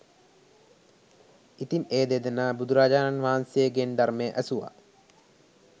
ඉතින් ඒ දෙදෙනා බුදුරජාණන් වහන්සේ ගෙන් ධර්මය ඇසුවා